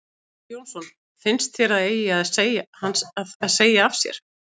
Sighvatur Jónsson: Finnst þér að þeir eigi að segja af sér?